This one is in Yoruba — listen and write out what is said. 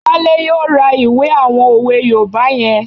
Wale yóò ra ìwé àwọn òwe yoòbá yẹn